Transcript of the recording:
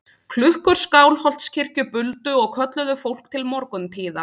Klukkur Skálholtskirkju buldu og kölluðu fólk til morguntíða.